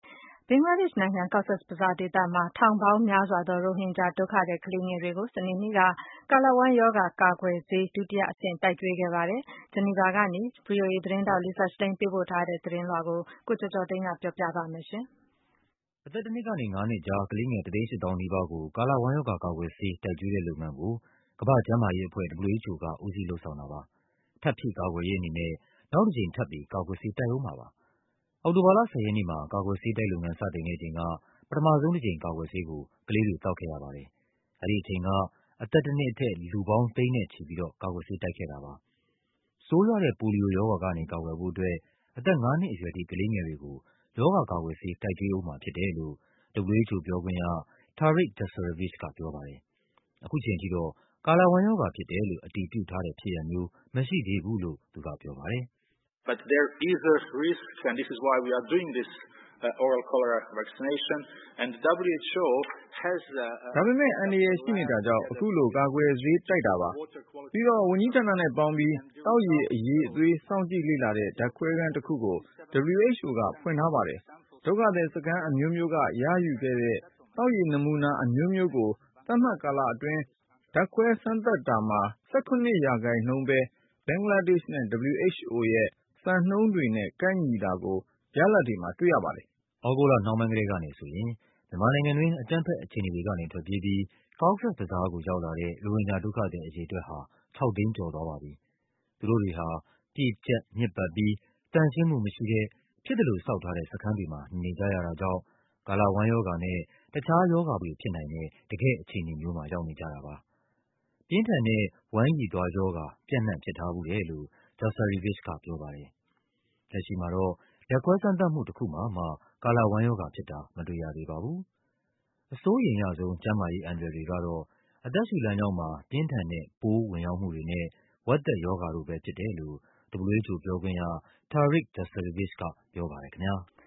ဘင်္ဂလားဒေ့ရှ်နိုင်ငံ၊ Cox’s Bazar ဒေသမှာ ထောင်ပေါင်းများစွာသော ရိုဟင်ဂျာ ဒုက္ခသည် ကလေးငယ်တွေကို စနေနေ့က ကာလဝမ်းရောဂါ ကာကွယ်ဆေး ဒုတိယအဆင့် တိုက်ကျွေး ခဲ့ပါတယ်။ ဂျီနီဗာကနေ ဗွီအိုအေသတင်းထောက် Lisa Schlein ပေးပို့ထားတဲ့ သတင်းလွှာကို ကိုကျော်ကျော်သိန်းက ပြောပြပါမယ်။ အသက် ၁ နှစ်ကနေ ၅ နှစ်ကြား ကလေးငယ် ၁၈၀,၀၀၀ နီးပါးကို ကာလဝမ်းရောဂါ ကာကွယ်ဆေး တိုက်ကျွေးတဲ့လုပ်ငန်း ကို ကမ္ဘာ့ကျန်းမာရေးအဖွဲ့ WHO က ဦးစီး လုပ်ဆောင် တာပါ။ ထပ်ဖြည့်ကာကွယ်ရေးအနေနဲ့ နောက်တကြိမ်ထပ်ပြီး ကာကွယ်ဆေး တိုက်ဦးမှာပါ။ အောက်တိုဘာလ ၁၀ ရက်နေ့မှာ ကာကွယ်ဆေးတိုက်လုပ်ငန်း စတင်ခဲ့ချိန်က ပထမဆုံး တကြိမ် ကာကွယ်ဆေးကို ကလေးတွေ သောက်ခဲ့ရပါတယ်။ အဲဒီအချိန်က အသက် တနှစ်အထက် လူပေါင်း ၇၀၀,၀၀၀ ကျော်ကို ကာကွယ်ဆေး တိုက်ခဲ့တာပါ။ ဆိုးရွားတဲ့ ပိုလီယိုရောဂါကနေ ကာကွယ်ဖို့အတွက် အသက်ငါးနှစ်အရွယ်ထိ ကလေး ငယ်တွေကို ရောဂါကာကွယ်ဆေး တိုက်ကျွေးဦးမှာဖြစ်တယ်လို့ WHO ပြောခွင့်ရ Tarik Jasarevic ကပြောပါတယ်။ ခုချိန်ထိတော့ ကာလဝမ်းရောဂါဖြစ်တယ်လို့ အတည်ပြုထားတဲ့ဖြစ်ရပ်မျိုး မရှိသေးဘူးလို့ သူကပြောပါတယ်။ “ဒါပေမဲ့ အန္တရာယ်ရှိနေတာကြောင့် အခုလို ကာကွယ်ဆေးတိုက်တာပါ။ ပြီးတော့ ဝန်ကြီး ဌာနနဲ့ပေါင်းပြီး သောက်ရေ အရည်အသွေး စောင့်ကြည့်လေ့လာတဲ့ ဓာတ်ခွဲခန်းတခုကို WHO ကဖွင့်ထားပါတယ်။ ဒုက္ခသည်စခန်းအမျိုးမျိုးက ရယူခဲ့တဲ့ သောက်ရေ နမူနာ အမျိုးမျိုးကို သတ်မှတ်ကာလအတွင်း ဓာတ်ခွဲစမ်းသပ်တာမှာ ၁၇% ပဲ ဘင်္ဂလားဒေ့ရှ်နဲ့ WHO ရဲ့ စံနှုန်းတွေနဲ့ ကိုက်ညီတာကို ရလာဒ်တွေမှာ တွ့ရပါတယ်။” သြဂုတ်လနှောင်းပိုင်းကတည်းကနေဆိုရင် မြန်မာနိုင်ငံက အကြမ်းဖက် အခြေအနေတွေ ကနေ ထွက်ပြေးပြီး Cox’s Bazar ကို ရောက်လာတဲ့ ရိုဟင်ဂျာဒုက္ခသည် အရေအတွက် ဟာ ၆၀၀,၀၀၀ ကျော်သွားပါပြီ။ သူတို့တွေဟာ ပြည့်ကျပ် ညစ်ပတ်ပြီး သန့်ရှင်းမှု မရှိတဲ့ ဖြစ်သလိုဆောက်ထားတဲ့ စခန်းတွေမှာ နေနေကြရတာကြောင့် ကာလဝမ်းရောဂါနဲ့ တခြားရောဂါပိုးတွေဖြစ်နိုင်တဲ့ တကယ့် အခြေအနေမှာ ရောက်နေကြတာပါ။ ပြင်းထန်တဲ့ ဝမ်းရည်သွားရောဂါ ပြန့်နှံ့ ဖြစ်ထားဖူးတယ်လို့ Jasarevic ကပြောပါတယ်။ လက်ရှိမှာတော့ ဓာတ်ခွဲစမ်းသပ်မှု တခု မှာမှ ကာလဝမ်းရောဂါဖြစ်တာ မတွေ့ရသေး ပါဘူး။ အစိုးရိမ်ရဆုံး ကျန်းမာရေးအန္တရာယ်တွေကတော့ အသက်ရှုလမ်းကြောင်းမှာ ပြင်းထန်တဲ့ ပိုးဝင်ရောက်မှုတွေနဲ့ ဝက်သက်ရောဂါတို့ပဲဖြစ်တယ်လို့ WHO ပြောခွင့်ရ Tarik Jasarevic ကပြောပါတယ်ခင်ဗျား။